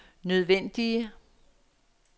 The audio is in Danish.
nødvendige